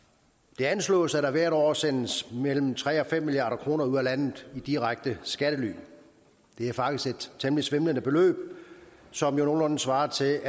det anslås at der hvert år sendes mellem tre og fem milliard kroner ud af landet i direkte skattely det er faktisk et temmelig svimlende beløb som jo nogenlunde svarer til